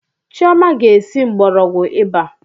Chioma ga esi mgbọrọgwụ ịba